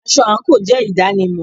Asọ̀-ìsokán jé idanimọ